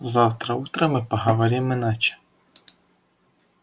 завтра утром мы поговорим иначе